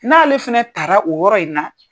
N'ale fana tara o yɔrɔ in na.